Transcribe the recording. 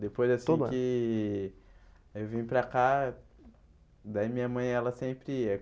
Depois assim todo ano que eu vim para cá, daí minha mãe ela sempre ia.